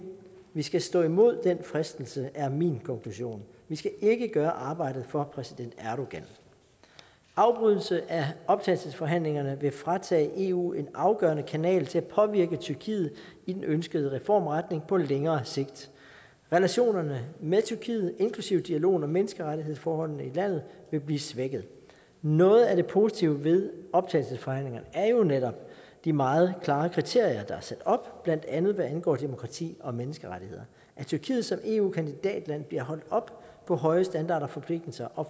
vi skal stå imod den fristelse er min konklusion vi skal ikke gøre arbejdet for præsident erdogan afbrydelse af optagelsesforhandlingerne vil fratage eu en afgørende kanal til at påvirke tyrkiet i den ønskede reformretning på længere sigt og relationerne med tyrkiet inklusive dialogen om menneskerettighedsforholdene i landet vil blive svækket noget af det positive ved optagelsesforhandlingerne er jo netop de meget klare kriterier der er sat op blandt andet hvad angår demokrati og menneskerettigheder at tyrkiet som eu kandidatland bliver holdt op på høje standarder og forpligtelser og